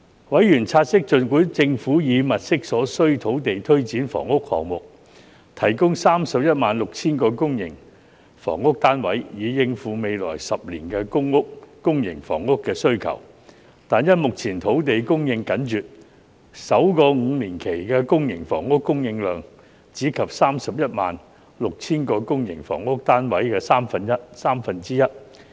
委員察悉，儘管政府已物色所需土地推展房屋項目，提供 316,000 個公營房屋單位，以應付未來10年的公營房屋需求，但因目前土地供應緊絀，首個5年期的公營房屋供應量，只及該 316,000 個公營房屋單位的三分之一。